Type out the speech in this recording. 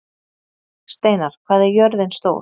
Steinar, hvað er jörðin stór?